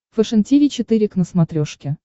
фэшен тиви четыре к на смотрешке